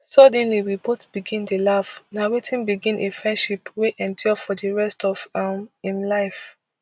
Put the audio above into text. suddenly we both begin dey laugh na wetin begin a friendship wey endure for di rest of um im life